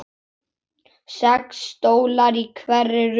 Sex stólar í hverri röð.